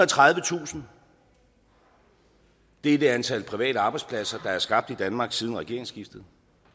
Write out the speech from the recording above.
og tredivetusind det er det antal private arbejdspladser der er skabt i danmark siden regeringsskiftet